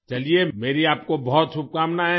चलिए मेरी आपको बहुत शुभकामनाएँ हैं